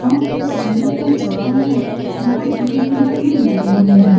और इस जगह के चारों ओर बहुत बड़े-बड़े पेड़ लगे हुए हैं।